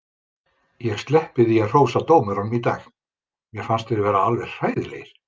Ég sleppi því að hrósa dómurunum í dag, mér fannst þeir vera alveg hræðilegir.